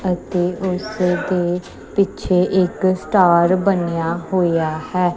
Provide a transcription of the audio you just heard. ਅਤੇ ਉਸ ਦੇ ਪਿੱਛੇ ਇੱਕ ਸਟਾਰ ਬਣਿਆ ਹੋਇਆ ਹੈ।